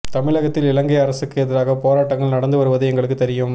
தமிழகத்தில் இலங்கை அரசுக்கு எதிராக போராட்டங்கள் நடந்து வருவது எங்களுக்கு தெரியும்